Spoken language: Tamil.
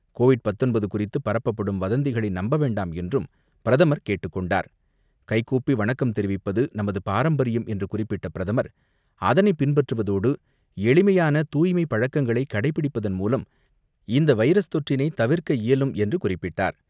கோவிட்19 குறித்து பரப்பப்படும் வதந்திகளை நம்ப வேண்டாம் என்றும் பிரதமர் கேட்டுக்கொண்டார். கைகூப்பி வணக்கம் தெரிவிப்பது நமது பாரம்பரியம் என்று குறிப்பிட்ட பிரதமர், அதனை பின்பற்றுவதோடு, எளிமையான தூய்மை பழக்கங்களை கடைபிடிப்பதன் மூலம் இந்தவைரஸ் தொற்றினைதவிர்க்க இயலும் என்று குறிப்பிட்டார்.